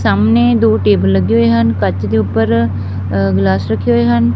ਸਾਹਮਣੇ ਦੋ ਟੇਬਲ ਲੱਗੇ ਹੋਏ ਹਨ ਕੱਚ ਦੇ ਉੱਪਰ ਗਿਲਾਸ ਰੱਖੇ ਹੋਏ ਹਨ।